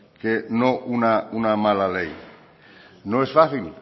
que no una mala ley no es fácil